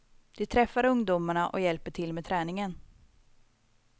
De träffar ungdomarna och hjälper till med träningen.